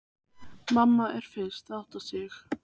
Mamma er fyrst að átta sig: